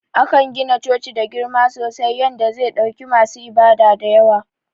Akan gina coci da girma sosai yanda ze ɗauki masu ibada dayawa.